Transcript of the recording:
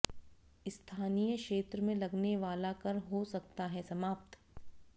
स्थानीय क्षेत्र में लगने वाला कर हो सकता है समाप्त